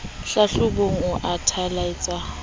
hlahlobong o a thalatsa o